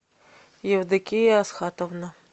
евдокия асхатовна